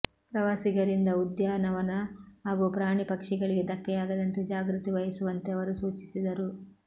ಪ್ರವಾಸಿಗರಿಂದ ಉದ್ಯಾನವನ ಹಾಗೂ ಪ್ರಾಣಿ ಪಕ್ಷಿಗಳಿಗೆ ಧಕ್ಕೆಯಾಗದಂತೆ ಜಾಗೃತಿ ವಹಿಸುವಂತೆ ಅವರು ಸೂಚಿಸಿದರು